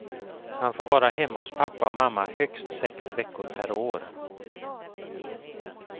Han får vara hemma hos pappa och mamma högst sex veckor per år.